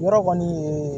Yɔrɔ kɔni